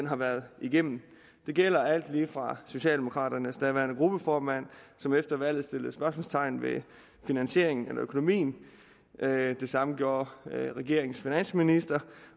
har været igennem det gælder alt lige fra socialdemokraternes daværende gruppeformand som efter valget satte spørgsmålstegn ved finansieringen eller økonomien det det samme gjorde regeringens finansminister